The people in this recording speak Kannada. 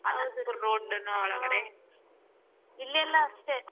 ಹೌದು ರೀ ಹ್ಮ್ ಇಲ್ಲಿ ಎಲ್ಲಾ ಅಷ್ಟೇ.